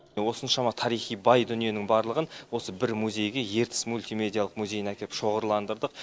осыншама тарихи бай дүниенің барлығын осы бір музейге ертіс мультимедиялық музейіне әкеліп шоғырландырдық